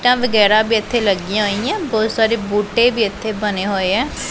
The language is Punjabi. ਇੱਟਾਂ ਵਗੈਰਾ ਵੀ ਇੱਥੇ ਲੱਗੀਆਂ ਹੋਈਐਂ ਬਹੁਤ ਸਾਰੇ ਬੂਟੇ ਵੀ ਇੱਥੇ ਬਣੇ ਹੋਏ ਐ।